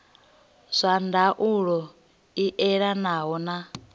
zwa ndaulo i elanaho na